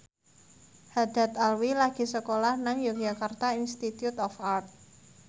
Haddad Alwi lagi sekolah nang Yogyakarta Institute of Art